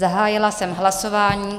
Zahájila jsem hlasování.